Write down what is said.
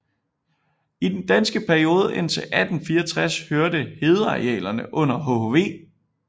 I den danske periode indtil 1864 hørte hedearealerne under hhv